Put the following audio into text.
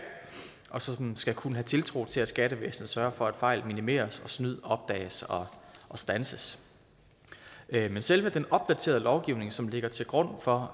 og som skal kunne have tiltro til at skattevæsenet sørger for at fejl minimeres og at snyd opdages og standses men selve den opdaterede lovgivning som ligger til grund for